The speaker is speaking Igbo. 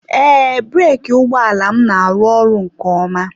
Ee, breeki ụgbọ ala m na-arụ ọrụ nke ọma.